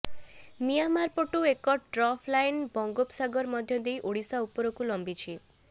ମିଁଆମାର ପଟୁ ଏକ trough line ବଙ୍ଗୋପ ସାଗର ମଧ୍ୟ ଦେଇ ଓଡ଼ିଶା ଉପରକୁ ଲମ୍ବିଛି